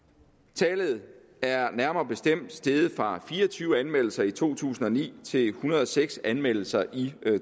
tallet er nærmere bestemt steget fra fire og tyve anmeldelser i to tusind og ni til en hundrede og seks anmeldelser i